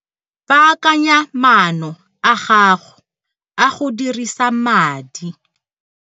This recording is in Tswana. Baakanya maano a gago a go dirisa madi.